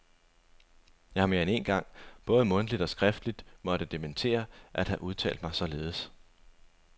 Jeg har mere end én gang både mundtligt og skriftligt måtte dementere at have udtalt mig således.